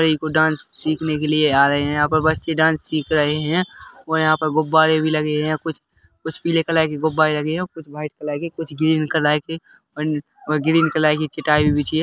ये कुछ डांस सिखने के लिए आ रहे है यहाँ पर बच्चे डांस सिख रहे है और यहाँ पर गुब्बारे भी लगे है कुछ पिले कलर के गुब्बारे लगे है कुछ वाइट कलर कुछ ग्रीन कलर और ग्रीन कलर की चटाई भी बिछी है।